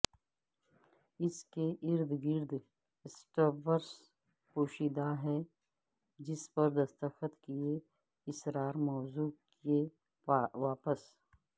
اس کے ارد گرد سٹرپس پوشیدہ ہے جس پر دستخط کئے اسرار موضوع کے واپس